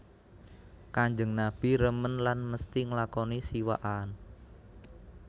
Kanjeng Nabi remen lan mesti nglakoni siwakan